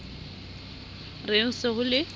re ho se ho le